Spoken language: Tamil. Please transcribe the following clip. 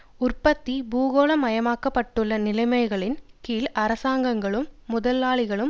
உற்பத்தி பூகோளமயமாக்கப்பட்டுள்ள நிலைமைகளின் கீழ் அரசாங்கங்களும் முதலாளிகளும் மற்றும்